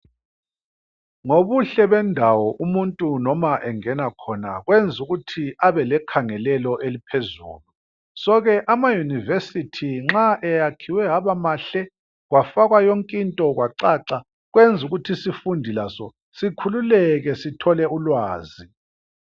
Ngobuhle bendawo umuntu noma engena khona kwenza ukuthi abe lekhangelelo eliphezulu. So ke amayunivesithi nxa eyakhiwe abamahle kwafakwa yonkinto kwacaca kwenza ukuthi isifundi laso sikhululeke sithole ulwazi.